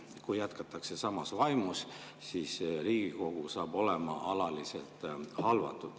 Kui jätkatakse samas vaimus, siis Riigikogu saab olema alaliselt halvatud.